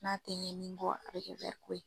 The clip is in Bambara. N'a tɛ ɲɛ min kɔ a bɛ kɛ ko ye.